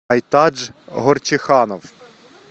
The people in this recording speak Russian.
айтадж горчиханов